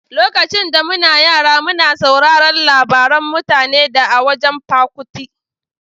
Lokacin da muna yara muna sauraron labaran mutane da a wajan Pa Kuti.